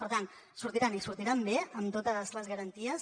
per tant sortiran i sortiran bé amb totes les garanties